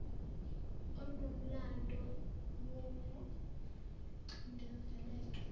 onomlando woku cindezeleka